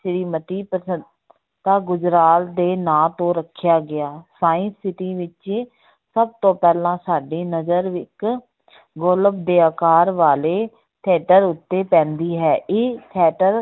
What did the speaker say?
ਸ੍ਰੀ ਮਤੀ ਤਾਂ ਗੁਜਰਾਲ ਦੇ ਨਾਂ ਤੋਂ ਰੱਖਿਆ ਗਿਆ science city ਵਿੱਚ ਸਭ ਤੋਂ ਪਹਿਲਾਂ ਸਾਡੀ ਨਜਰ ਇੱਕ ਗੋਲਬ ਦੇ ਆਕਾਰ ਵਾਲੇ theater ਉੱਤੇ ਪੈਂਦੀ ਹੈ, ਇਹ theater